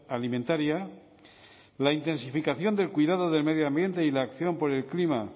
alimentaria la intensificación del cuidado del medio ambiente y la acción por el clima